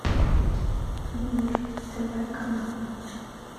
мир тв канал